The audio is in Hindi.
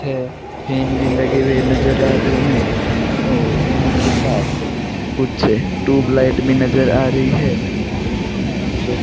है फेन भी लगे हुए नजर आ रहे हैं और उनके साथ कुछ ट्यूबलाइट भी नज़र आ रही है हैं जो --